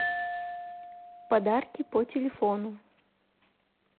подарки по телефону